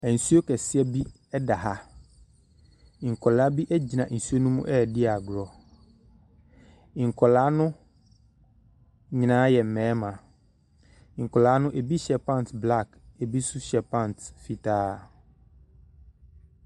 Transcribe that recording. Nsuo kɛseɛ bi da ha. Nkwadaa bi gyina nsuo no mu redi agorɔ. Nkwadaa no nyinaa yɛ mmarima. Nkwada no ebi hyɛ pants black ebi nso hyɛ panta fitaa.